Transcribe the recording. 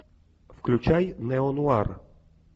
включай неонуар